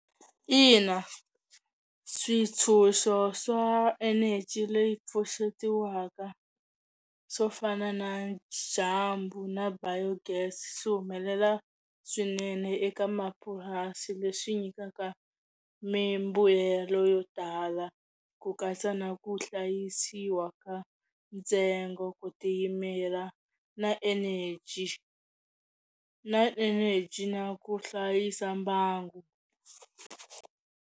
Ina switshunxo swa eneji leyi pfuxetiwaka swo fana na dyambu na biogas swi humelela swinene eka mapurasi leswi nyikaka mimbuyelo yo tala ku katsa na ku hlayisiwa ka ntsengo ku tiyimela na energy na energy na ku hlayisa mbangu.